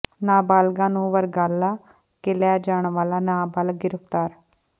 ਨਾਬਾਲਗਾ ਨੂੰ ਵਰਗਲਾ ਕੇ ਲੈ ਜਾਣ ਵਾਲਾ ਨਾਬਾਲਗ ਗਿ੍ਫ਼ਤਾਰ